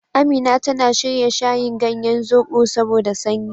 Amina tana shirya shayin ganyen zoɓo saboda sanyi.